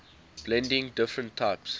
blending different types